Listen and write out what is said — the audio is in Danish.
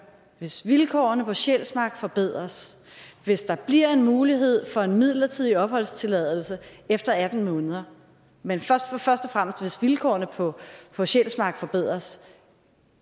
at hvis vilkårene på sjælsmark forbedres hvis der bliver en mulighed fra en midlertidig opholdstilladelse efter atten måneder men først og fremmest hvis vilkårene på på sjælsmark forbedres